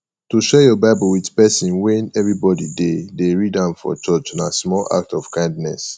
to share your bible with persin when everybody de de read am for church na small act of kindness